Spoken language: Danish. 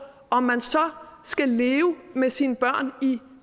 om man så skal leve med sine børn i